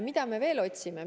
Mida me veel otsime?